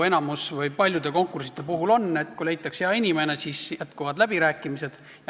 Enamiku või paljude konkursside puhul on nii, et kui leitakse sobiv inimene, siis jätkuvad läbirääkimised.